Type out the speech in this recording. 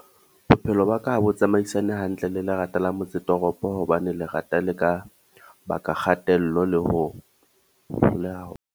Bophelo ba ka ha bo tsamaisane hantle le lerata la motse toropo, hobane lerata le ka baka kgatello le ho hloleha .